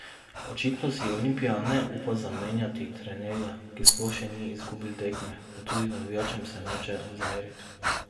Očitno si Olimpija ne upa zamenjati trenerja, ki sploh še ni izgubil tekme, pa tudi navijačem se noče zameriti.